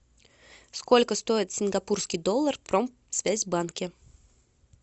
сколько стоит сингапурский доллар в промсвязь банке